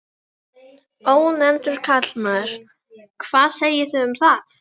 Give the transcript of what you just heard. Ónefndur karlmaður: Hvað segið þið um það?